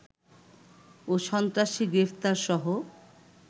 ও সন্ত্রাসী গ্রেফতারসহ